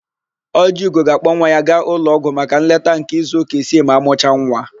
Ọjịugo ga-akpọ nwa ya gaa ụlọọgwụ maka nleta nke izuụka isii ma amụcha nwa.